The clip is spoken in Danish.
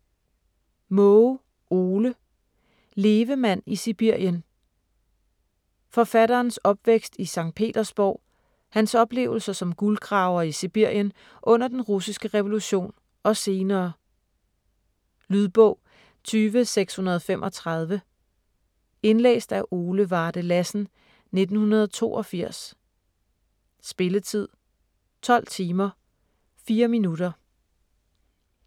Maage, Ole: Levemand i Sibirien Forfatterens opvækst i Sct. Petersborg, hans oplevelser som guldgraver i Sibirien under den russiske revolution og senere. Lydbog 20635 Indlæst af Ole Varde Lassen, 1982. Spilletid: 12 timer, 4 minutter.